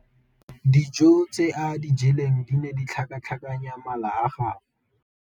Dijô tse a di jeleng di ne di tlhakatlhakanya mala a gagwe.